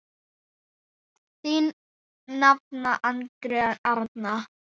Þín nafna, Andrea Arna.